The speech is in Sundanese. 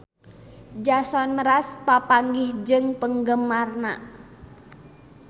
Jason Mraz papanggih jeung penggemarna